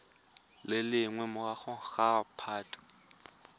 le leng magareng ga phatwe